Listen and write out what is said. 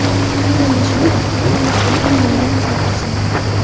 Xonanda Shohruxxon o‘tgan kunlarga nazar tashladi.